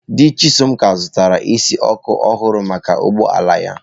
Di Chisom ka zụtara isi ọkụ ọhụrụ maka ụgbọ ala ya.